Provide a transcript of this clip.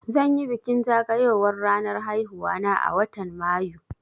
Zan yi bikin zagayowar ranar haihuwa na a watan Mayu